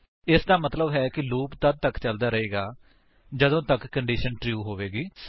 ਇਸਦਾ ਮਤਲੱਬ ਹੈ ਕਿ ਲੂਪ ਤੱਦ ਤੱਕ ਚੱਲਦਾ ਰਹੇਗਾ ਜਦੋਂ ਤੱਕ ਕੰਡੀਸ਼ਨ ਟਰੂ ਹੋਵੇਗੀ